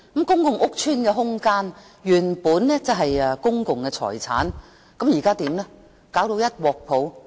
公共屋邨的空間原本是公共財產，現在卻弄至一團糟。